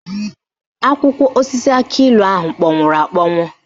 Akwụkwọ osisi akịilụ ahụ kpọnwụrụ akpọnwụ